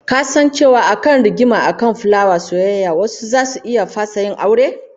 Ka san cewa akan rigima akan fulawar soyayya wasu zasu iya fasa yin aure?